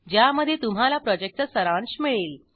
ज्यामध्ये तुम्हाला प्रॉजेक्टचा सारांश मिळेल